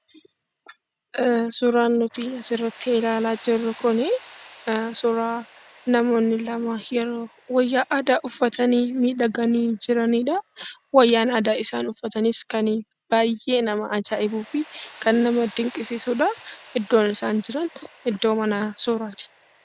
Suuraan nuti asirratti ilaalaa jirru kun, suuraa namoonni lama yeroo wayyaa aadaa uffatanii, miidhagani, Wayyaan aadaa isaan uffatanis kan baayyee nama ajaa'ibuufi kan nama dinqisiisudha. Iddoo isaan jiran iddoo mana suuraati.